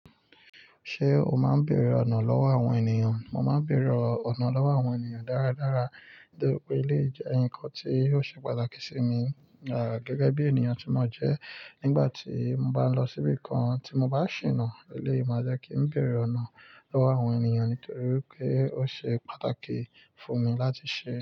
Ṣé o máa ń bèrè ọ̀nà lọ́wọ́ àwọn ènìyàn? Mo máa ń bèrè ọ̀nà lọ́wọ́ àwọn ènìyàn dáradára, nítorí pé eléyi jẹ́ ǹkan tí ò ṣe pàtàkì sí mi, gẹ́gẹ́ bí ènìyàn tí mo jẹ́. Nígbà tí mo bá lọ síbi kan tí mo bá ṣìnà, eléyi máa jẹ́ kí ń bèrè ọ̀nà lọ́wọ́ àwọn ènìyàn, nítorí pé ó ṣe pàtàkì fún mi láti ṣe.